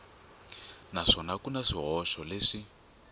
naswona ku na swihoxo leswi